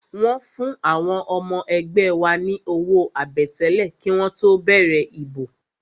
Wọ́n fún àwọn ọmọ ẹgbẹ́ wa ní owó àbẹ̀tẹ́lẹ̀ kí wọ́n tó bẹ̀rẹ̀ ìbò